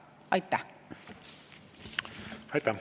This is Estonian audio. Aitäh!